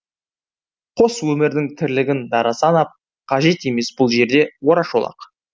қос өмірдің тірлігін дара санап қажет емес бұл жерде орашолақ